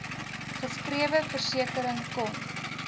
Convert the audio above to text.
geskrewe versekering kon